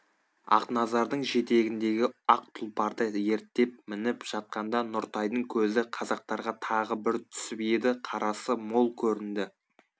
ақназардың жетегіндегі ақ тұлпарды ерттеп мініп жатқанда нұртайдың көзі қазақтарға тағы бір түсіп еді қарасы мол көрінді